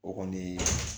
O kɔni